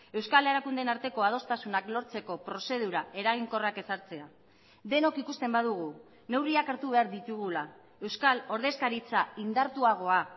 euskal erakundeen arteko adostasunak lortzeko prozedura eraginkorrak ezartzea denok ikusten badugu neurriak hartu behar ditugula euskal ordezkaritza indartuagoa